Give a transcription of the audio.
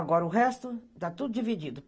Agora, o resto está tudo dividido.